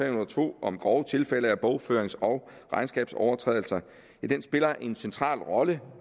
og to om grove tilfælde af bogførings og regnskabsovertrædelser spiller en central rolle